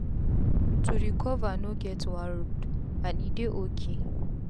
to recover no get one road and e dey ok